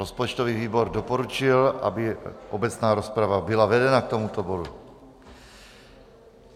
Rozpočtový výbor doporučil, aby obecná rozprava byla vedena k tomuto bodu.